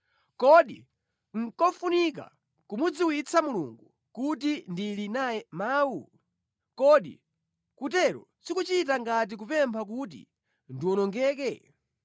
Kodi nʼkofunika kumudziwitsa Mulungu kuti ndili naye mawu? Kodi kutero sikuchita ngati kupempha kuti ndiwonongeke?